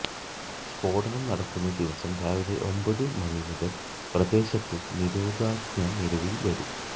സ്ഫോടനം നടക്കുന്ന ദിവസം രാവിലെ ഒമ്പത് മണി മുതൽ പ്രദേശത്ത് നിരോധനാജ്ഞ നിലവിൽ വരും